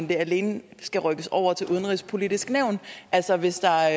det alene skal rykkes over til udenrigspolitisk nævn altså hvis der